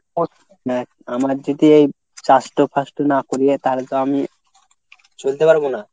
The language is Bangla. দেখ আমার যদি এই চাষটো ফাষটো না করি তাহলে তো আমি চলতে পারব না।